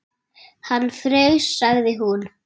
Hann fraus, sagði hún.